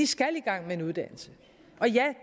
skal i gang med en uddannelse og ja